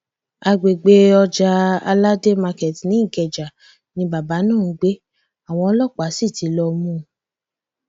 àgbègbè ọjà aládé market ní ikeja ni bàbá náà ń gbé àwọn ọlọpàá sí ti lọọ mú un